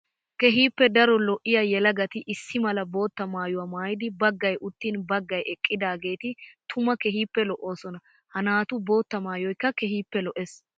Keehippe daro yelagatti issi mala bootta maayuwa maayiddi baggay uttin baggay eqiddageetti tuma keehippe lo'osonna. Ha naatu bootta maayoykka keehippe lo'ees.